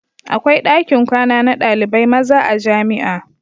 Akwai dakin kwana na ɗalibai maza a jamia